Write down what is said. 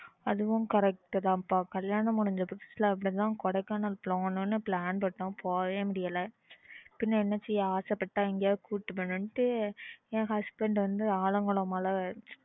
அதுவும் correct தான் கல்யாணம் முடிஞ்சா புதுசுல அப்பிடித்தான் Kodaikanal போகணும் ன்னு plan பண்ணோம் போகவே முடியல பின்ன என்ன செய்ய ஆச போட்டுட்டாங்க கூட்டிட்டு போகணும்ன்னு என் husband வந்து ஆலங்குளம் மலை